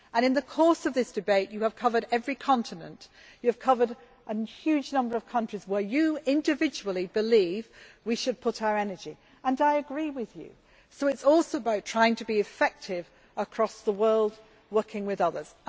In the course of this debate you have covered every continent and you have covered a huge number of countries into which you individually believe we should put our energy. I agree with you that it is about trying to be effective across the world, working with others.